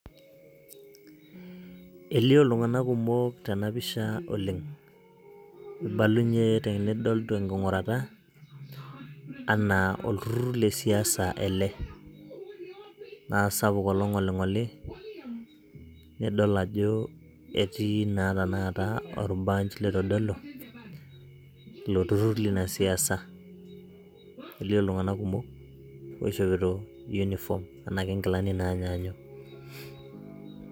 elio itung'anak kumok tenapisha oleng' ibalunye tenking'urata olturur lesiasa naa sapuk olong'oli, idol ajoelio olbarge oitodolu ilo turur leina siasa elio iltung'anak kumok oishopito inkilani naa nyanyuk.